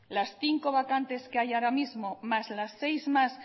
las cinco vacantes que hay ahora mismo más las seis más